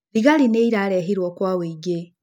Thigari nĩ irarehirwo kwa ũingĩ.